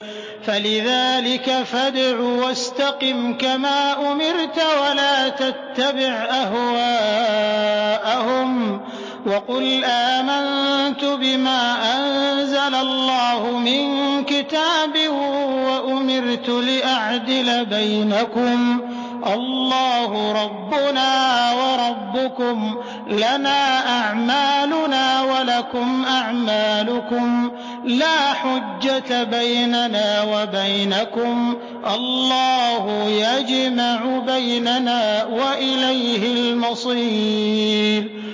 فَلِذَٰلِكَ فَادْعُ ۖ وَاسْتَقِمْ كَمَا أُمِرْتَ ۖ وَلَا تَتَّبِعْ أَهْوَاءَهُمْ ۖ وَقُلْ آمَنتُ بِمَا أَنزَلَ اللَّهُ مِن كِتَابٍ ۖ وَأُمِرْتُ لِأَعْدِلَ بَيْنَكُمُ ۖ اللَّهُ رَبُّنَا وَرَبُّكُمْ ۖ لَنَا أَعْمَالُنَا وَلَكُمْ أَعْمَالُكُمْ ۖ لَا حُجَّةَ بَيْنَنَا وَبَيْنَكُمُ ۖ اللَّهُ يَجْمَعُ بَيْنَنَا ۖ وَإِلَيْهِ الْمَصِيرُ